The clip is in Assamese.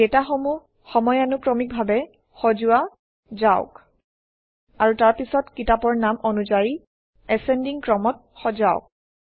ডাটাসমূহ সময়ানুক্ৰমিকভাৱে সজোৱা যাওক আৰু তাৰপিছত কিতাপৰ নাম অনুযায়ী এচেণ্ডিং ক্ৰমত সজাওক